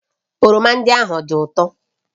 oroma ndị ahụ ọ dị ụtọ?